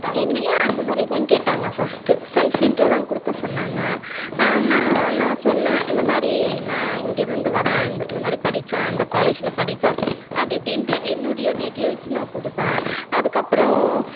என்னையும் அந்த மாறி தான் கேட்டாங்க first self intro தான் குடுக்க சொன்னாங்க அஹ் நா நா சொன்னேன் இந்த மாறி நா இங்க இருந்து வரேன் இந்த மாறி படிச்சேன் இந்த college ல படிச்சேன் அப்படி இப்படிந்டு என்னுடைய details நா குடுத்தேன் அதுக்கு அப்பறம்